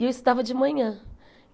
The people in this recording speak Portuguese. E eu estudava de manhã.